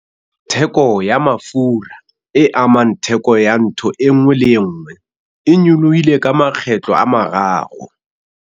Theko ya mafura, e amang theko ya ntho e nngwe le e nngwe, e nyolohile ka makgetlo a mararo